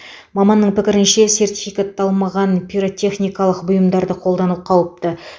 маманның пікірінше сертификатталмаған пиротехникалық бұйымдарды қолдану қауіпті